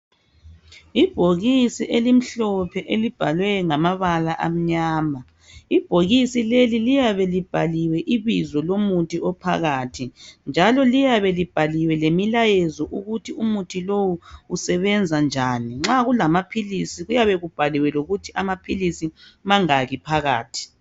Ibhokisi elimhlophe elibhalwe ngamabala amnyama ibhokisi leli liyabe libhaliwe ibizo lomuthi ophakathi njalo liyabe libhaliwe lemilayezo ukuthi umuthi lowu usebenza njani nxa kulamaphilisi kuyabe kubhaliwe lokuthi amaphilisi mangaki phakathi.